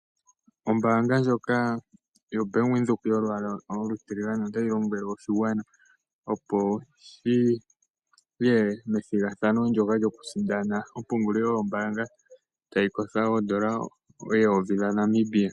Ombanga yaVenduka oatyi lombwele oshigwana opo shiye methigathano ndoka lyokusindana epungulilo lyombanga tali kosho oondola eyovi dhaNamibia.